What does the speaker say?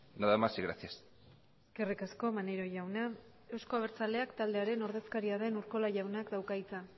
nada más y gracias eskerrik asko maneiro jauna euzko abertzaleak taldearen ordezkaria den urkola jaunak dauka hitza